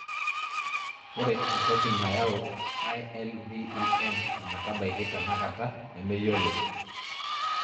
Ore entoki nayau ILVEN ometabaki tenakata nemeyioloi.